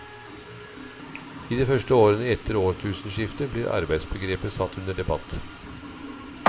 I de første årene etter årtusenskiftet blir arbeidsbegrepet satt under debatt.